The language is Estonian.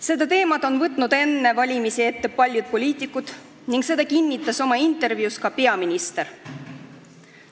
Selle teema on enne valimisi ette võtnud paljud poliitikud, seda kinnitas oma intervjuus ka peaminister.